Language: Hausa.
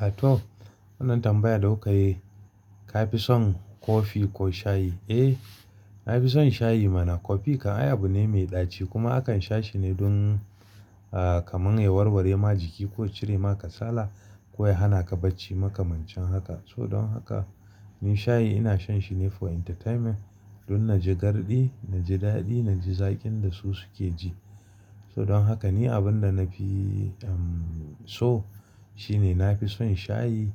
A to, wannan tambayar da kuka yi. Ka fi son kofi ko shayi? Eh, na fi son shayi mana. Kofi kan ayaba ne mai ɗaci kuma akan sha shi ne don, kamar ya warware ma jiki ko cire ma kasala ko ya hana ka bacci makamancin haka. So don haka, ni shayi ina shan shi ne for entertainment don na ji garɗi, na ji daɗi, na ji zaƙin da su suke ji. So don haka ni abin da na fi, so shine na fi son shayi